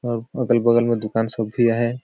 और अगल -बगल में दुकान सबभि अहाए।